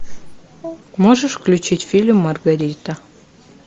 можешь включить фильм маргарита